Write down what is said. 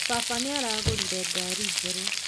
Baba nĩaragũrire ngari njerũ